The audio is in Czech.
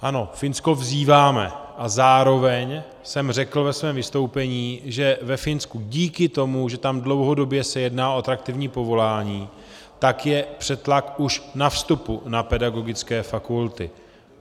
Ano, Finsko vzýváme, a zároveň jsem řekl ve svém vystoupení, že ve Finsku díky tomu, že tam dlouhodobě se jedná o atraktivní povolání, tak je přetlak už na vstupu na pedagogické fakulty.